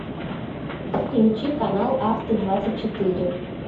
включи канал авто двадцать четыре